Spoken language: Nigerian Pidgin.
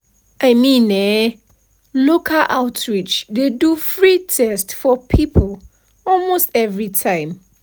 i mean eh local outreach dey do free test for people almost every time.